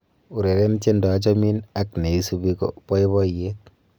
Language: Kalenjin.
ureren tiendo achomin ak neisubi ko boiboiyet